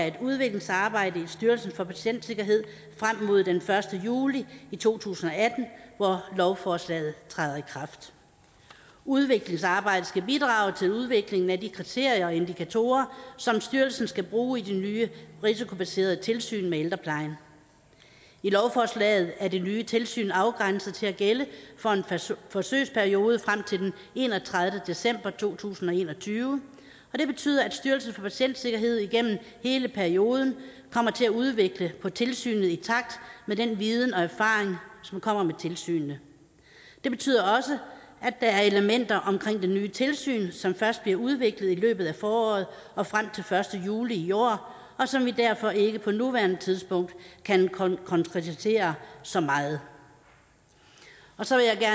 et udviklingsarbejde i styrelsen for patientsikkerhed frem mod den første juli to tusind og atten hvor lovforslaget træder i kraft udviklingsarbejdet skal bidrage til udviklingen af de kriterier og indikatorer som styrelsen skal bruge i det nye risikobaserede tilsyn med ældreplejen i lovforslaget er det nye tilsyn afgrænset til at gælde for en forsøgsperiode frem til den enogtredivete december to tusind og en og tyve og det betyder at styrelsen for patientsikkerhed gennem hele perioden kommer til at udvikle på tilsynet i takt med den viden og erfaring som kommer med tilsynet det betyder også at der er elementer omkring det nye tilsyn som først bliver udviklet i løbet af foråret og frem til den første juli i år og som vi derfor ikke på nuværende tidspunkt kan konkretisere så meget så vil jeg